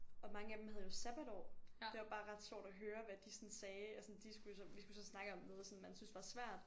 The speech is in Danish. Og mange af dem havde jo sabbatår. Det var bare ret sjovt at høre hvad de sådan sagde altså sådan de skulle jo så vi skulle så snakke om noget som man synes var svært